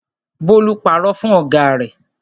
Bólú parọ́ fún ọ̀gá rẹ̀.